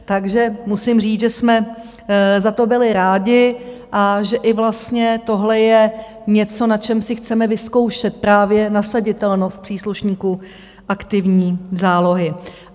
Takže musím říct, že jsme za to byli rádi a že i vlastně tohle je něco, na čem si chceme vyzkoušet právě nasaditelnost příslušníků aktivní zálohy.